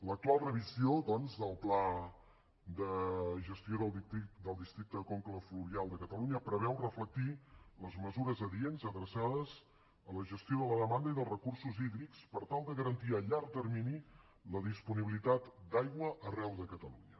l’actual revisió doncs del pla de gestió del districte de conca fluvial de catalunya preveu reflectir les mesures adients adreçades a la gestió de la demanda i dels recursos hídrics per tal de garantir a llarg termini la disponibilitat d’aigua arreu de catalunya